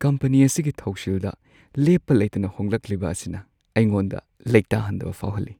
Company ꯑꯁꯤꯒꯤ ꯊꯧꯁꯤꯜꯗ ꯂꯦꯞꯄ ꯂꯩꯇꯅ ꯍꯣꯡꯂꯛꯂꯤꯕ ꯑꯁꯤꯅ ꯑꯩꯉꯣꯟꯗ ꯂꯩꯇꯥꯍꯟꯗꯕ ꯐꯥꯎꯍꯜꯂꯤ ꯫